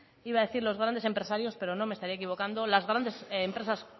iba a decir los grandes empresarios pero no me estaría equivocando las grandes empresas